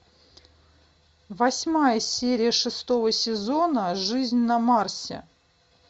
восьмая серия шестого сезона жизнь на марсе